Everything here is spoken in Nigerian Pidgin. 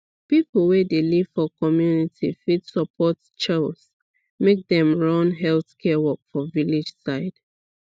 people wey dey live for community fit support chws make dem run health care work for village side